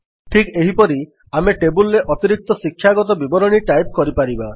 ଠିକ୍ ଏହିପରି ଆମେ ଟେବଲ୍ ରେ ଅତିରିକ୍ତ ଶିକ୍ଷାଗତ ବିବରଣୀ ଟାଇପ୍ କରିପାରିବା